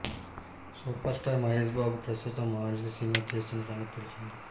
super star Mahesh Babu ప్రస్తుతం Maharshi cinema చేస్తున్న సంగతి తెలిసిందే